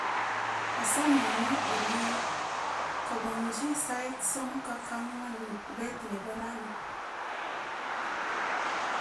asome inyo olie kobunji sait somok ak ang'wan beet nebo raini